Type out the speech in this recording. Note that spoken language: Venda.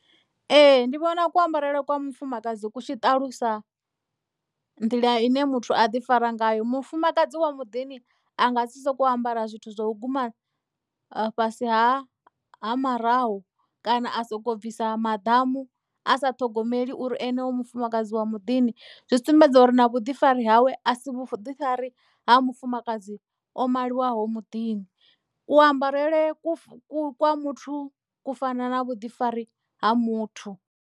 Ee ndi vhona ku ambarele kwa mufumakadzi ku tshiṱalusa nḓila ine muthu a ḓi fara ngayo mufumakadzi wa muḓini a nga si soko ambara zwithu zwa u guma fhasi ha ha maraho kana a soko bvisa maḓamu a sa ṱhogomeli uri ene u mufumakadzi wa muḓini zwi sumbedza uri na vhuḓifari hawe a si vhuḓifari ha mufumakadzi o maliwaho muḓini ku ambarele kwa muthu ku fana na vhuḓifari ha muthu.